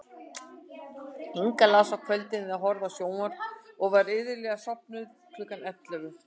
Inga las á kvöldin eða horfði á sjónvarp og var iðulega sofnuð klukkan ellefu.